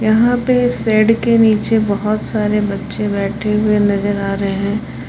यहां पे शेड के नीचे बहोत सारे बच्चे बैठे हुए नजर आ रहे हैं।